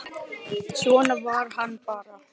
Svona var hann bara.